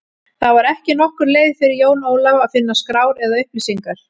Það var ekki nokkur leið fyrir Jón Ólaf að finna skrár eða upplýsingar.